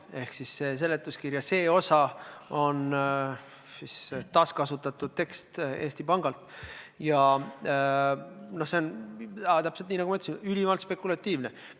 Ehk teisisõnu, seletuskirja see osa on Eesti Pangalt võetud taaskasutatud tekst ja see on – täpselt nii, nagu ma ütlesin – ülimalt spekulatiivne.